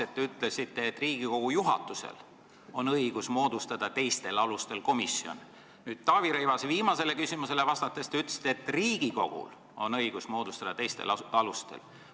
Algul te ütlesite, et Riigikogu juhatusel on õigus moodustada komisjon teisel alusel, Taavi Rõivase viimasele küsimusele vastates te ütlesite, et Riigikogul on õigus moodustada teisel alusel.